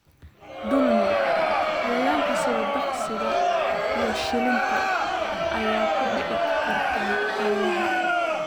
Dulmiga: Cayayaanka sida duqsiga iyo shilinta ayaa ku dhici karta xoolaha.